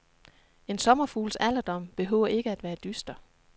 En sommerfugls alderdom behøver ikke at være dyster.